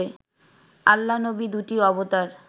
আল্লা-নবি দুটি অবতার